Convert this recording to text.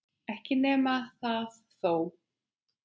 Ekki nema það þó!